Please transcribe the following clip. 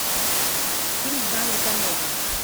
фильм в жанре комедия